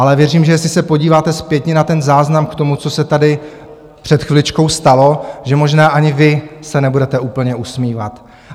Ale věřím, že jestli se podíváte zpětně na ten záznam k tomu, co se tady před chviličkou stalo, že možná ani vy se nebudete úplně usmívat.